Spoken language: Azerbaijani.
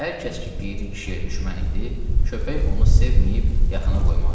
Hər kəs ki, Piri kişiyə düşmən idi, köpək onu sevməyib yaxınına qoymazdı.